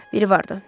Biri vardı.